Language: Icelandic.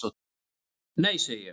"""Nei, segi ég."""